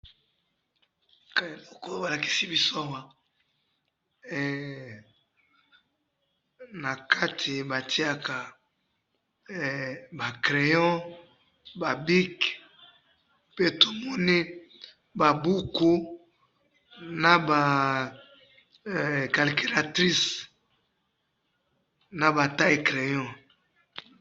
awa balakisi biso awa heee nakati batiyaka ba crayon ba bic pe tomoni ba buku naba calculatrice naba taille crayon.